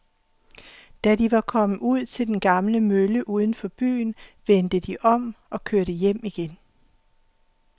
Da de var kommet ud til den gamle mølle uden for byen, vendte de om og kørte hjem igen.